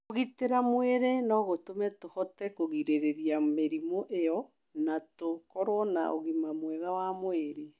Kũgitĩra mwĩrĩ no gũtũme tũhote kũgirĩrĩria mĩrimũ ĩyo na tũkorũo na ũgima mwega wa mwĩrĩ.